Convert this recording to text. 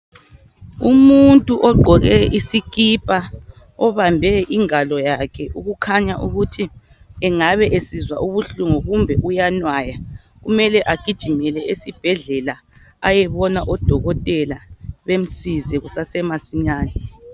umuntu ogqoke isikipa obambe ingalo yakhe okukhanya ukuthi engabe esizwa ubuhlungu kumbe eyanwaya kumele agijimele esibhedlela ayebona o dokotela bemsize kusase masinyane